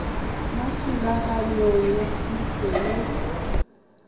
mo thulaganyong ya thuso y